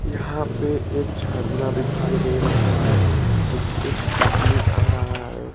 यहां पे एक झरना दिखाई दे रहा है जिससे पानी आ रहा है।